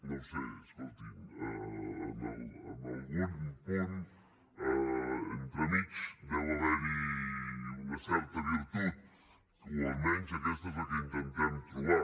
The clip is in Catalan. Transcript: no ho sé escoltin en algun punt entremig deu haver hi una certa virtut o almenys aquesta és la que intentem trobar